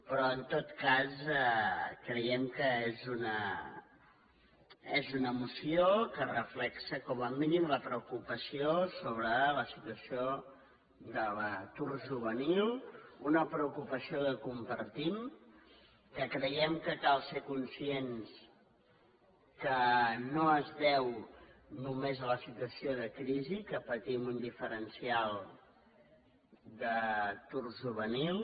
però en tot cas creiem que és una moció que reflecteix com a mínim la preocupació sobre la situació de l’atur juvenil una preocupació que compartim que creiem que cal ser conscients que no es deu només a la situació de crisi que patim un diferencial d’atur juvenil